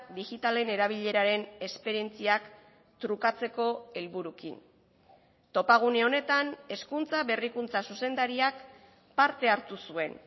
digitalen erabileraren esperientziak trukatzeko helburuekin topagune honetan hezkuntza berrikuntza zuzendariak parte hartu zuen